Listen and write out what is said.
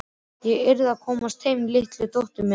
Ég yrði að komast heim til litlu dóttur minnar.